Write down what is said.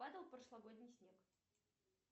падал прошлогодний снег